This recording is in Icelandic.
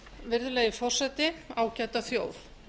virðulegi forseti ágæta þjóð